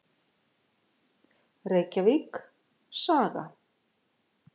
Reykjavík: Saga.